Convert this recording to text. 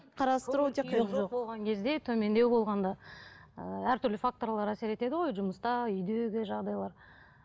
кезде төмендеу болғанда ы әртүрлі факторлар әсер етеді ғой жұмыста үйдегі жағдайлар